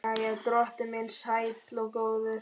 Jæja, drottinn minn sæll og góður.